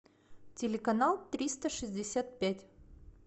телеканал триста шестьдесят пять